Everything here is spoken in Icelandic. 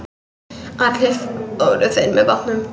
Allir fóru þeir með bátnum.